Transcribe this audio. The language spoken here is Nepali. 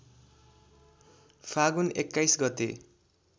फागुन २१ गते